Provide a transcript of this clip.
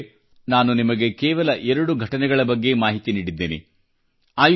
ಮಿತ್ರರೇ ನಾನು ನಿಮಗೆ ಕೇವಲ ಎರಡು ಘಟನೆಗಳ ಬಗ್ಗೆ ಮಾಹಿತಿ ನೀಡಿದ್ದೇನೆ